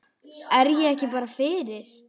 Er ég ekki bara fyrir?